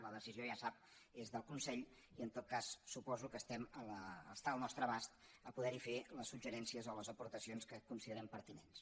la decisió ja sap que és del consell i en tot cas suposo que està al nostre abast poder hi fer els suggeriments o les aportacions que considerem pertinents